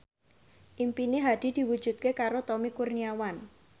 impine Hadi diwujudke karo Tommy Kurniawan